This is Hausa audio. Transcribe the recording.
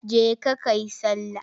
Je ka ka yi sallah!